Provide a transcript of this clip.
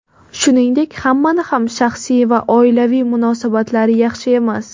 Shuningdek, hammani ham shaxsiy va oilaviy munosabatlari yaxshi emas.